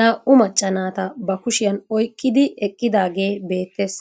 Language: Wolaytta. naa'u macca naatta ba kushshiyaan oyqqidi eqqidaagee beettees.